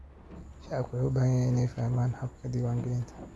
Shacabku waxay u baahan yihiin inay fahmaan habka diiwaangelinta.